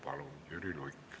Palun, Jüri Luik!